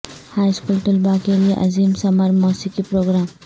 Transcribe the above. high school طلباء کے لئے عظیم سمر موسیقی پروگرام